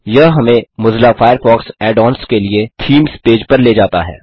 यह हमें Mozilla Firefox add ons के लिए टीएमईएसई पेज पर ले जाता है